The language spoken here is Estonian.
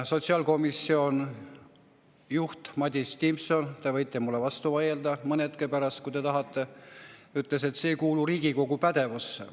Sotsiaalkomisjoni juht Madis Timpson – te võite mulle vastu vaielda mõne hetke pärast, kui te tahate – ütles, et see ei kuulu Riigikogu pädevusse.